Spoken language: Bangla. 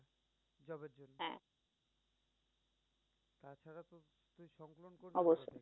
অবশ্যই।